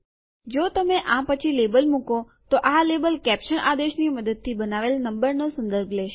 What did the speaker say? જો તમે આ પછી લેબલ મુકો તો આ લેબલ કેપ્સન આદેશની મદદથી બનાવેલ નંબર નો સંદર્ભ લેશે